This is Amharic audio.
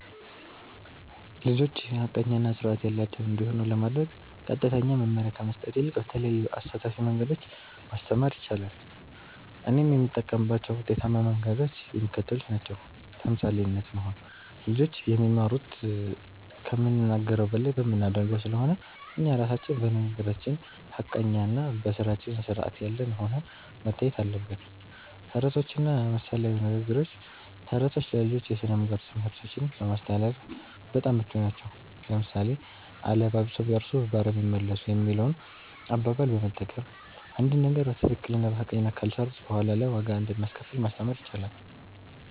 ልጆች ሐቀኛ እና ሥርዓት ያላቸው እንዲሆኑ ለማድረግ ቀጥተኛ መመሪያ ከመስጠት ይልቅ በተለያዩ አሳታፊ መንገዶች ማስተማር ይቻላል። እኔም የምጠቀምባቸው ውጤታማ መንገዶች የሚከተሉት ናቸው። ተምሳሌት መሆን (Role Modeling)፦ ልጆች የሚማሩት ከምንናገረው በላይ በምናደርገው ስለሆነ፣ እኛ ራሳችን በንግግራችን ሐቀኛና በሥራችን ሥርዓት ያለን ሆነን መታየት አለብን። ተረቶችና ምሳሌያዊ ንግግሮች፦ ተረቶች ለልጆች የሥነ-ምግባር ትምህርቶችን ለማስተላለፍ በጣም ምቹ ናቸው። ለምሳሌ፣ "አለባብሰው ቢያርሱ በአረም ይመለሱ" የሚለውን አባባል በመጠቀም፣ አንድን ነገር በትክክልና በሐቀኝነት ካልሰሩት በኋላ ላይ ዋጋ እንደሚያስከፍል ማስተማር ይቻላል።